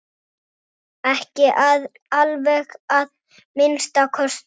Ekki alveg að minnsta kosti!